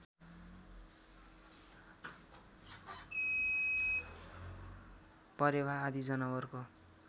परेवा आदि जनावरको